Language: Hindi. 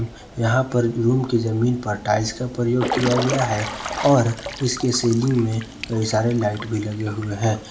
यहां पर रूम की जमीन पर टाइल्स का प्रयोग किया गया है और इसके सेलिंग में कई सारे लाइट भी लगे हुए हैं।